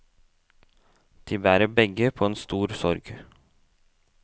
De bærer begge på en stor sorg.